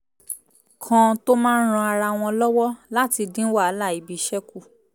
kan tó máa ń ran ara wọn lọ́wọ́ láti dín wàhálà ibiṣẹ́ kù